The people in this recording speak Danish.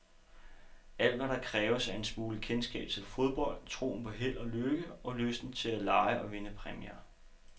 Alt, hvad der kræves, er en smule kendskab til fodbold, troen på held og lykke, og lysten til at lege og vinde præmier.